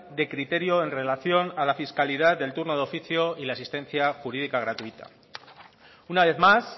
de criterio en relación a la fiscalidad del turno de oficio y la asistencia jurídica gratuita una vez más